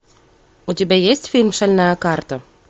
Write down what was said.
у тебя есть фильм шальная карта